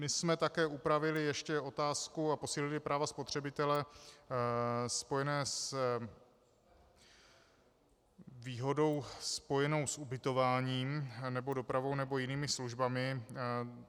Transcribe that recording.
My jsme také upravili ještě otázku a posílili právo spotřebitele spojené s výhodou spojenou s ubytováním nebo dopravou nebo jinými službami.